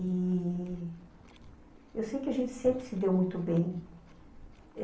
E... Eu sei que a gente sempre se deu muito bem.